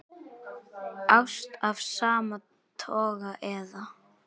Ást af sama toga eða